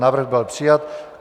Návrh byl přijat.